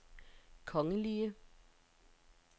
kongelige